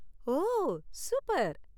ஓ, super.